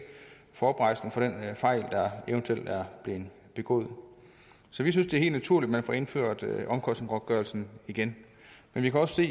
får oprejsning for den fejl der eventuelt er blevet begået så vi synes det er helt naturligt at man får indført omkostningsgodtgørelsen igen men vi kan også